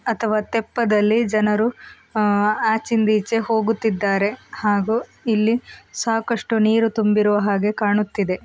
ಅಥವಾ ತೆಪ್ಪದಲ್ಲಿ ಜನರು ಆ ಆಚೆಯಿಂದ ಈಚೆ ಹೋಗುತ್ತಿದ್ದಾರೆ ಹಾಗೂ ಇಲ್ಲಿ ಸಾಕಷ್ಟು ನೀರು ತುಂಬಿರುವ ಹಾಗೆ ಕಾಣುತ್ತಿದೆ.